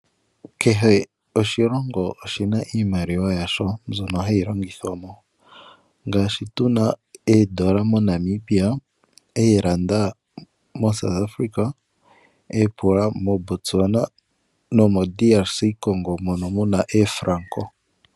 Kehe oshilongo oshi na iimaliwa yasho mbyono hayi longithwa mo, ngashi tu na oodola moNamibia, ooranda moSouth-Africa, oopula moBotwana, nomoDRC-Congo mono mu na oofranko.